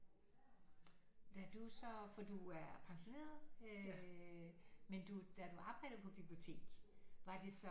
Da du så for du er pensioneret øh men du da du arbejdede på bibliotek var det så